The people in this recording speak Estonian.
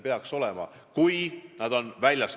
See oli küll ühine arvamus.